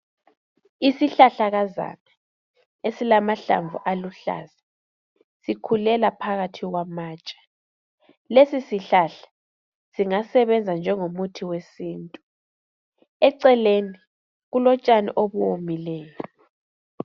Isihlahlakazana esilamahlamvu aluhlaza, sikhulela phakathi kwamatshe. Lesi sihlahla singasebenza njengomuthi wesintu. Eceleni, kulotshani obuwomileyo.